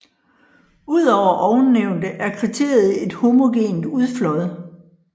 Udover ovennævnte er kriteriet et homogent udflåd